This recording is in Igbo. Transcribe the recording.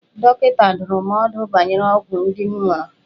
Dọkịta dụrụ m ọdụ banyere ọgwụ ndị m ṅụrụ.